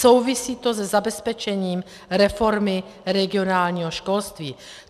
Souvisí to se zabezpečením reformy regionálního školství.